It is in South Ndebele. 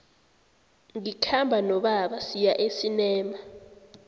ngikhamba nobaba siya esinema